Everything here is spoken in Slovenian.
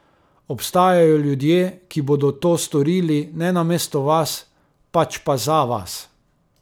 Obstajajo ljudje, ki bodo to storili ne namesto vas, pač pa za vas.